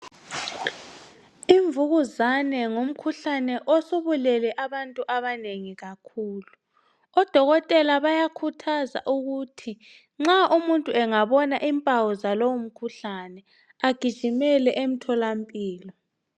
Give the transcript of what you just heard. Imvukuzane ngumkhuhlane osubulele abantu abanengi kakhulu, odokotela bayakhuthaza ukuthi nxa umuntu angabona impawu zalowo mkhuhlane agijimele emtholampilo.